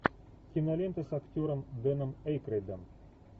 кинолента с актером дэном эйкройдом